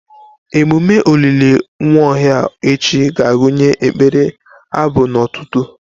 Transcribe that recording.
Ememme olili Nwaohia echi ga-agụnye ekpere, abụ na otuto.